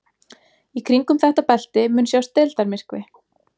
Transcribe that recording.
Í kringum þetta belti mun sjást deildarmyrkvi.